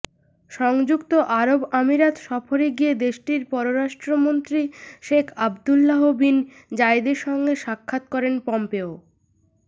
সংযুক্ত আরব আমিরাত সফরে গিয়ে দেশটির পররাষ্ট্রমন্ত্রী শেখ আব্দুল্লাহ বিন জায়েদের সঙ্গে সাক্ষাৎ করেন পম্পেও